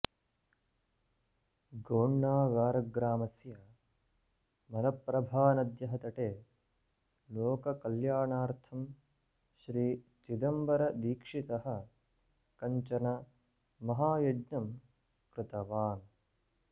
गोण्णागारग्रामस्य मलप्रभानद्यः तटे लोककल्याणार्थं श्रीचिदम्बरदीक्षितः कञ्चन महायज्ञं कृतवान्